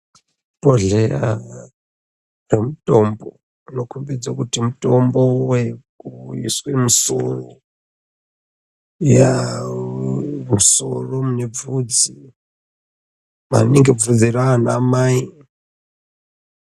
Bhodhleya remutombo unokhombidze kuti mutombo wekuiswe musoro yaa musoro mune bvudzi, maningi bvudzi raanamai.